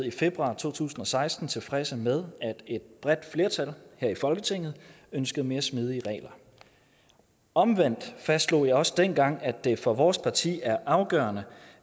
i februar to tusind og seksten tilfredse med at et bredt flertal her i folketinget ønskede mere smidige regler omvendt fastslog jeg også dengang at det for vores parti er afgørende